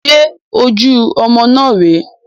Ṣe ojú ọmọ náà rè é?